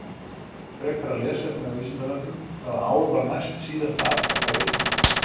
Frekara lesefni á Vísindavefnum: Hvaða ár var næstsíðasta aftaka á Íslandi?